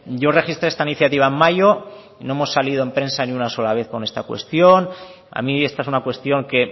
yo registré esta iniciativa en mayo y no hemos salido en prensa ni una sola vez con esta cuestión a mí esta es una cuestión que